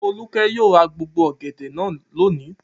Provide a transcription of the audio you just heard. Folúkẹ́ yóò ra gbogbo ọ̀gẹ̀dẹ̀ náà lónìí!